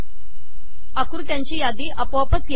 आकृत्यांची यादी आपोआपच येते